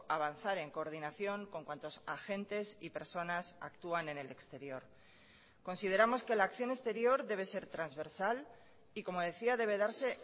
avanzar en coordinación con cuantos agentes y personas actúan en el exterior consideramos que la acción exterior debe ser transversal y como decía debe darse